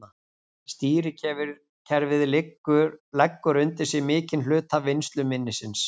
Stýrikerfið leggur undir sig mikinn hluta vinnsluminnisins.